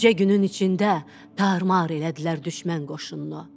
Bircə günün içində tarmar elədilər düşmən qoşununu.